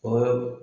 O yɔrɔ